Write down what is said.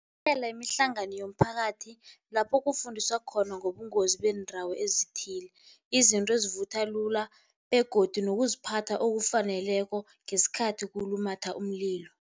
imihlangano yomphakathi lapho kufundiswa khona ngobungozi beendawo ezithile, izinto ezivutha lula begodu nokuziphatha okufaneleko ngesikhathi kulumatha umlilo.